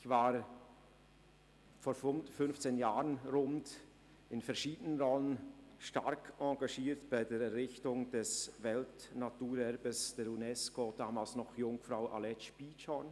Ich war vor rund fünfzehn Jahren in verschiedenen Rahmen stark engagiert bei der Errichtung des Weltnaturerbes der UNESCO im Gebiet Jungfrau-Aletsch-Bietschorn.